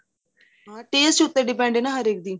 taste ਉਥੇ depend ਨੇ ਹਰੇਕ ਦੇ